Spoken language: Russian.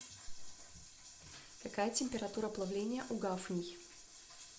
какая температура плавления у гафний